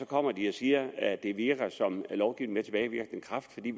kommer de og siger at det virker som lovgivning med tilbagevirkende kraft fordi